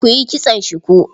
Ku yi kitson shuku.